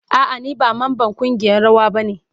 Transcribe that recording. A'a ni ba mamban kungiyan rawa ba ne.